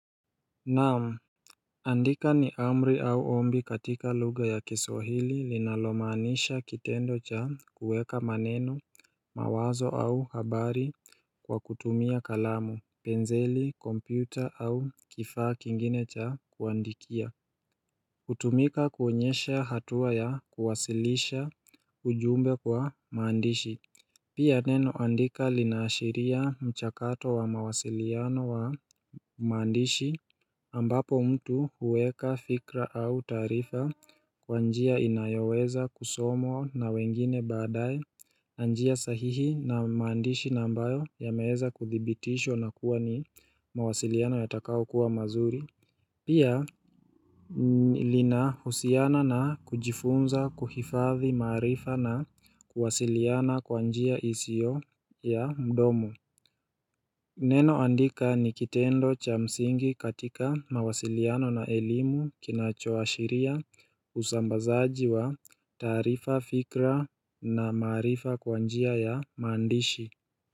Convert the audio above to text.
Naam, andika ni amri au ombi katika luga ya kiswahili linalomaanisha kitendo cha kuweka maneno mawazo au habari kwa kutumia kalamu, penseli, kompyuta au kifaa kingine cha kuandikia hutumika kuonyesha hatua ya kuwasilisha ujumbe kwa maandishi Pia neno andika linaashiria mchakato wa mawasiliano wa maandishi ambapo mtu huweka fikra au taarifa kwa njia inayoweza kusomwa na wengine baadae njia sahihi na maandishi ambayo yameweza kuthibitishwa nakuwa ni mawasiliano yatakao kuwa mazuri, Pia, linahusiana na kujifunza kuhifadhi maarifa na kuwasiliana kwa njia isiyo ya mdomo Neno andika ni kitendo cha msingi katika mawasiliano na elimu kinachoashiria usambazaji wa taarifa fikra na marifa kwa njia ya maandishi.